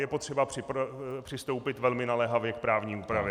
Je potřeba přistoupit velmi naléhavě k právní úpravě.